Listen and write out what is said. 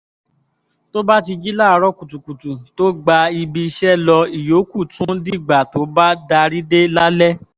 tó bá ti jí láàárọ̀ kùtùkùtù tó gba ibi iṣẹ́ lọ ìyókù tún dìgbà tó bá darí dé lálẹ́